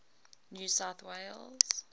new south wales